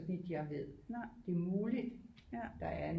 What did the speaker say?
Så vidt jeg ved det er muligt der er